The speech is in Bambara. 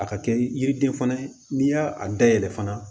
A ka kɛ yiriden fana ye n'i y'a dayɛlɛ fana